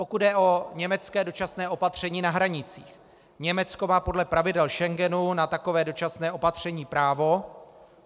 Pokud jde o německé dočasné opatření na hranicích, Německo má podle pravidel Schengenu na takové dočasné opatření právo.